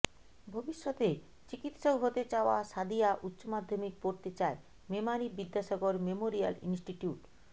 ভবিষ্যতে চিকিৎসক হতে চাওয়া সাদিয়া উচ্চমাধ্যমিক পড়তে চায় মেমারি বিদ্যাসাগর মেমোরিয়াল ইনস্টিটিউট